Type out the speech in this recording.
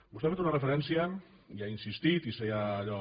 vostè ha fet una referència i ha insistit i s’hi ha allò